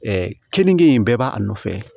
kenige in bɛɛ b'a nɔfɛ